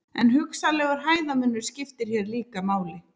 En hugsanlegur hæðarmunur skiptir hér líka máli.